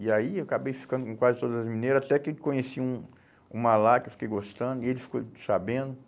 E aí eu acabei ficando com quase todas as mineira, até que eu conheci um uma lá que eu fiquei gostando e ele ficou sabendo.